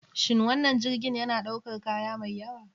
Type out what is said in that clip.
Shin wannan jirgin yana ɗaukar kaya mai yawa?